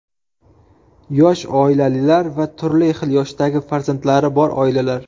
Yosh oilalar va turli xil yoshdagi farzandlari bor oilalar.